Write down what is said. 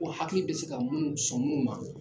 Ko hakili bɛ se ka munnu, sɔn munnu ma